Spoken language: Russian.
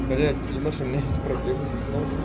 блять ты думаешь у меня есть проблемы со сном